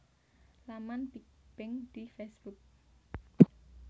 Laman Big Bang di Facebook